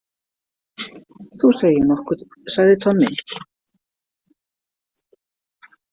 Þú segir nokkuð, sagði Tommi.